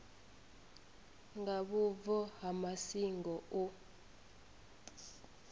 nga vhubvo ha masingo u